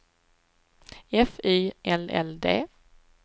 F Y L L D